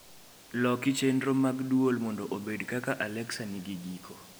Loki chenro mag dwol mondo obed kaka alexa nigi giko